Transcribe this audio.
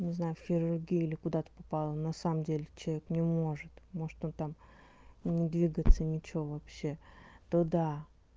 не знаю в хирургию или куда ты попала на самом деле человек не может может он там не двигаться ничего вообще то да